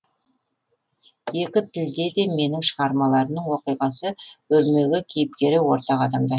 екі тілде де менің шығармаларымның оқиғасы өрмегі кейіпкері ортақ адамдар